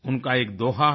उनका एक दोहा है